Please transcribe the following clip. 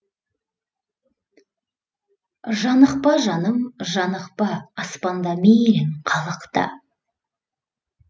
жанықпа жаным жанықпа аспанда мейлің қалықта